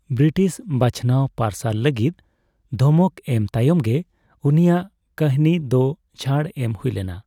British ᱵᱪᱷᱱᱟᱣ parcel ᱞᱟᱹᱜᱤᱫ ᱫᱷᱚᱢᱚᱠ ᱮᱢ ᱛᱟᱭᱚᱢ ᱜᱮ ᱩᱱᱤᱭᱟᱜ ᱠᱟᱦᱱᱤ ᱫᱚ ᱪᱷᱟᱹᱲ ᱮᱢ ᱦᱩᱭ ᱞᱮᱱᱟ ᱾